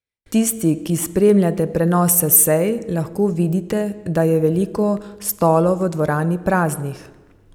Tisti, ki spremljate prenose sej, lahko vidite, da je veliko stolov v dvorani praznih.